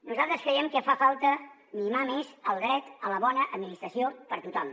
nosaltres creiem que fa falta mimar més el dret a la bona administració per a tothom